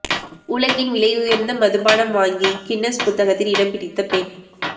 உலகின் விலையுயர்ந்த மதுபானம் வாங்கி கின்னஸ் புத்தகத்தில் இடம் பிடித்த பெண்